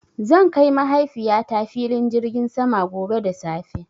Zan kai Mahaifiyata filin jirgin sama gobe da safe.